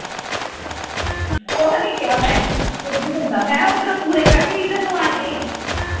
ਕੁਖ ਨਹੀਂ ਕਿਹਾ ਮੈਂ ਮੈਂ ਕਿਹਾ ਉਧਰ ਪੂਰੇ ਕਰਕੇ ਏਧਰ ਨੂੰ ਆ ਜਾਈਂ